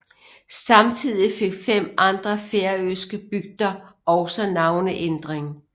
Samtidig fik fem andre færøske bygder også navneændring